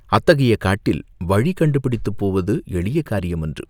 அத்தகைய காட்டில் வழி கண்டுபிடித்துப் போவது எளிய காரியமன்று.